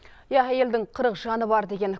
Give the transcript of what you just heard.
иә әйелдің қырық жаны бар деген